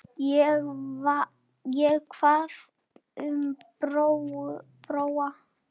Og hvað um Bróa?